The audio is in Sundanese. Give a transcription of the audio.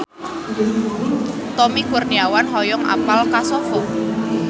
Tommy Kurniawan hoyong apal Kosovo